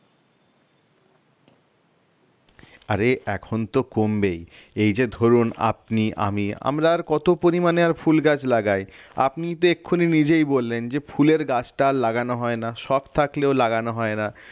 আরে এখন তো কমবেই এই যে ধরুন আপনি আমি আমরা আর কত পরিমাণে আর ফুল গাছ লাগায় আপনি তো এক্ষুনি নিজেই বললেন যে ফুলের গাছটা আর লাগানো হয় না শখ থাকলেও লাগানো হয় না